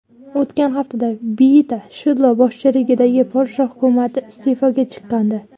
O‘tgan haftada Beata Shidlo boshchiligidagi Polsha hukumati iste’foga chiqqandi.